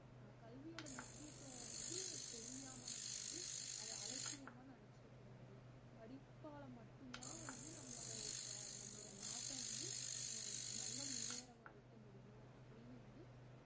அஹ் கல்வியோட முக்கியத்துவம் வந்து தெரியாம நம்ம வந்து அத அலட்சியமா நினச்சுடக்கூடாது படிப்பால மட்டும்தான் வந்து நம்மளோட உ~ நம்மளோட நாட்டை வந்து அஹ் நல்ல முன்னேற வெக்க முடியும் அப்படின்னு வந்து